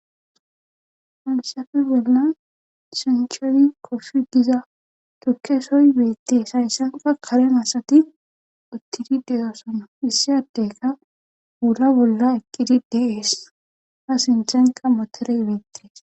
Hayssappe bollan sancho koofi giza tukke soy beetees. esaysankka kare asati uttidi de'osona. issi addekka wula bolla eqqidi de'ees.A sinththenkka motoree beetees.